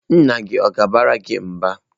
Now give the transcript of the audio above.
Nna gị ọ̀ ga-abara gị mba?